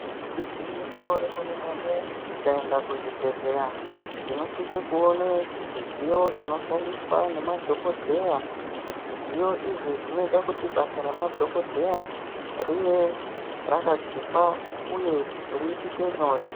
Igwinyiso remene-mene tikaenda kuzvibhedhleya tinosise kuone zvidziyo zvinoshandiswa nemadhogodheya. Zvidziyo izvi zvinoite kuti basa ramadhogodheya rive rakachipa uye riitike nyore.